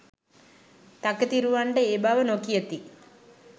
තකතිරුවන්ට ඒ බව නොකියති.